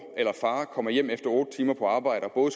eller far kommer hjem efter otte timer på arbejde og